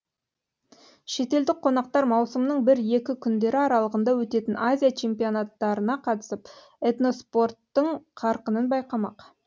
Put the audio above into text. шетелдік қонақтар маусымның бір екі күндері аралығында өтетін азия чемпионаттарына қатысып этноспорттың қарқынын байқамақ